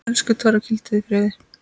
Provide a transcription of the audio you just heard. Elsku Torfi, hvíldu í friði.